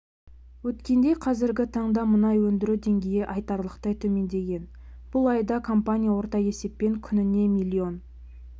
өткендей қазіргі таңда мұнай өндіру деңгейі айтарлықтай төмендеген бұл айда компания орта есеппен күніне млн